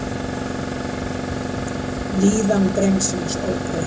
Líðan drengsins óbreytt